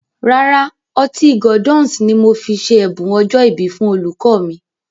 Rárá, Ọtí Gordon's ni mo fi ṣe ẹ̀bùn ọjọ́ ìbí fún olùkọ́ mi